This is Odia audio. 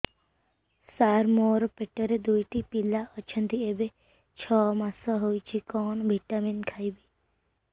ସାର ମୋର ପେଟରେ ଦୁଇଟି ପିଲା ଅଛନ୍ତି ଏବେ ଛଅ ମାସ ହେଇଛି କଣ ଭିଟାମିନ ଖାଇବି